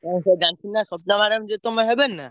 ତମେ ସବୁ ଜାଣିଚ ନା ସ୍ବପ୍ନା madam ଯିଏ ତମର ହେବେନି ନା?